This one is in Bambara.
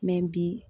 bi